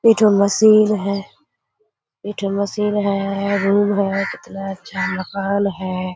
एकठो मशीन है एकठो मशीन है कितना अच्छा मकान है।